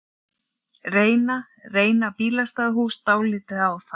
Reyna, reyna bílastæðahús dálítið á það?